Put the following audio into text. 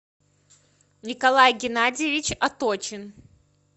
николай геннадьевич оточин